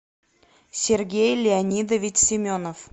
сергей леонидович семенов